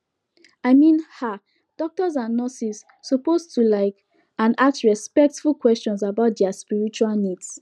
i min ah doctors and nurses suppose to like and ask respectful questions about dia spiritual needs